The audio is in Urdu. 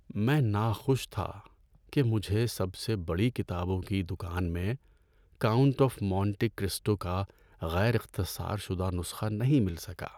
میں ناخوش تھا کہ مجھے سب سے بڑی کتابوں کی دکان میں "کاؤنٹ آف مونٹی کرسٹو" کا غیر اختصار شدہ نسخہ نہیں مل سکا۔